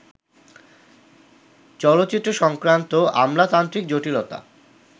চলচ্চিত্র-সংক্রান্ত আমলাতান্ত্রিক জটিলতা